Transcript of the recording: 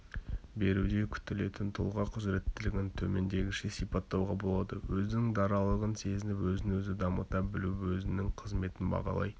беруде күтілетін тұлға құзыретілігін төмендегіше сипаттауға болады өзінің даралығын сезініп өзін-өзі дамыта білуі-өзінің қызметін бағалай